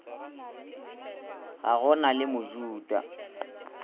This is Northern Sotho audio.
ga go na le mojuda